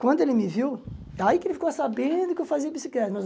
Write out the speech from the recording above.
Quando ele me viu, aí que ele ficou sabendo que eu fazia bicicleta.